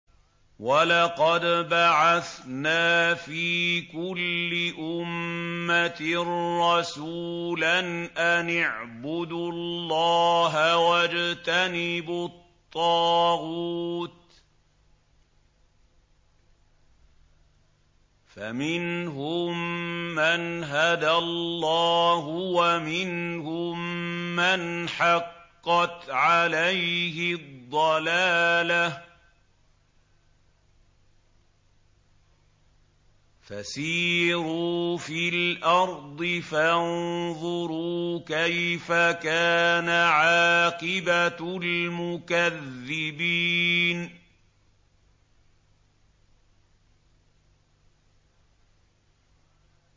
وَلَقَدْ بَعَثْنَا فِي كُلِّ أُمَّةٍ رَّسُولًا أَنِ اعْبُدُوا اللَّهَ وَاجْتَنِبُوا الطَّاغُوتَ ۖ فَمِنْهُم مَّنْ هَدَى اللَّهُ وَمِنْهُم مَّنْ حَقَّتْ عَلَيْهِ الضَّلَالَةُ ۚ فَسِيرُوا فِي الْأَرْضِ فَانظُرُوا كَيْفَ كَانَ عَاقِبَةُ الْمُكَذِّبِينَ